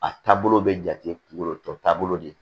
A taabolo bɛ jate kungolo tɔ taabolo de ye